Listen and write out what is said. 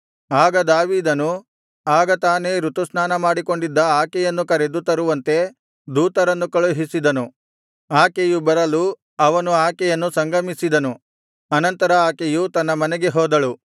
ಆಗ ದಾವೀದನು ಆಗ ತಾನೇ ಋತುಸ್ನಾನಮಾಡಿಕೊಂಡಿದ್ದ ಆಕೆಯನ್ನು ಕರೆದು ತರುವಂತೆ ದೂತರನ್ನು ಕಳುಹಿಸಿದನು ಆಕೆಯು ಬರಲು ಅವನು ಆಕೆಯನ್ನು ಸಂಗಮಿಸಿದನು ಅನಂತರ ಆಕೆಯು ತನ್ನ ಮನೆಗೆ ಹೋದಳು